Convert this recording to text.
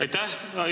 Aitäh!